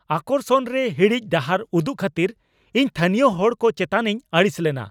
ᱟᱠᱚᱨᱥᱚᱱ ᱨᱮ ᱦᱤᱲᱤᱡ ᱰᱟᱦᱟᱨ ᱩᱫᱩᱜ ᱠᱷᱟᱹᱛᱤᱨ ᱤᱧ ᱛᱷᱟᱹᱱᱤᱭᱚ ᱦᱚᱲ ᱠᱚ ᱪᱮᱛᱟᱱᱤᱧ ᱟᱹᱲᱤᱥ ᱞᱮᱱᱟ ᱾